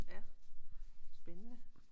Ja spændende